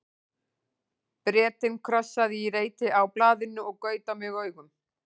Bretinn krossaði í reit á blaðinu og gaut á mig augum.